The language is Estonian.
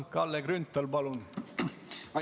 Kalle Grünthal, palun!